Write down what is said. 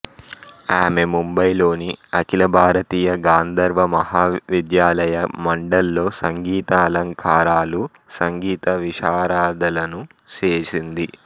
ఆమె ముంబై లోని ఆఖిల భారతీయ గాంధర్వ మహావిద్యాలయ మండల్ లో సంగీత అలంకారాలు సంగీత విశారదలను చేసింది